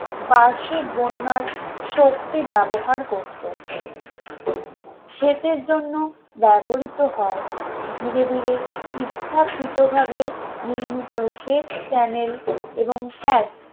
বার্ষিক বন্যার শক্তি ব্যবহার করত সেচের জন্য ব্যবহৃত হয় ধীরে ধীরে ইচ্ছাকৃতভাবে নির্মিত সেচ channel এবং cat